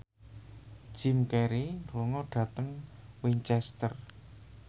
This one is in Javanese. Jim Carey lunga dhateng Winchester